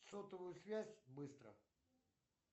сотовую связь быстро